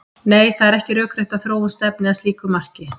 Nei, það er ekki rökrétt að þróun stefni að slíku marki.